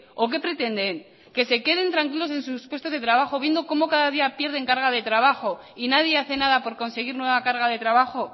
o que pretenden que se queden tranquilos en sus puestos de trabajo viendo como cada día pierden carga de trabajo y nadie hace nada por conseguir nueva carga de trabajo